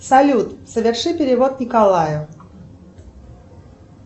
салют соверши перевод николаю